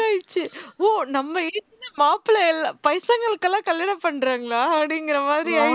ஓ நம்ம age ல மாப்பிள்ளை இல்லை வயசானவங்ககளுக்கு எல்லாம் கல்யாணம் பண்றாங்களா அப்படிங்கிற மாதிரி